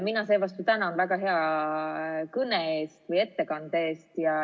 Mina seevastu tänan väga hea kõne, ettekande eest.